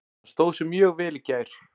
Hann stóð sig mjög vel í gær.